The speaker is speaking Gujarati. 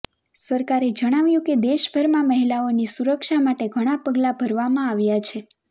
સરકારે જણાવ્યું કે દેશભરમાં મહિલાઓની સુરક્ષા માટે ઘણા પગલા ભરવામાં આવ્યા છે